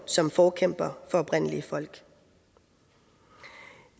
som forkæmper for oprindelige folk